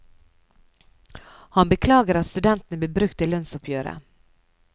Han beklager at studentene blir brukt i lønnsoppgjøret.